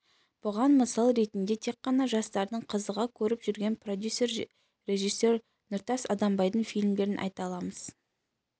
бұған мысал ретінде тек қана жастардың қызыға көріп жүрген продюсер режиссер нұртас адамбайдың фильмдерін айта аламыз